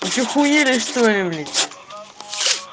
вы что ахуели что ли блять